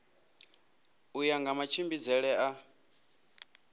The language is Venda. u ya nga matshimbidzele a